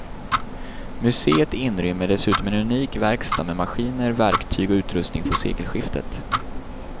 Museet inrymmer dessutom en unik verkstad med maskiner, verktyg och utrustning från sekelskiftet.